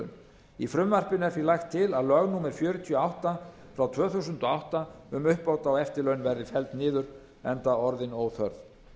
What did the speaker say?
eftirlaun í frumvarpinu er því lagt til að lög númer fjörutíu og átta tvö þúsund og átta um uppbót á eftirlaun verði felld niður enda orðin óþörf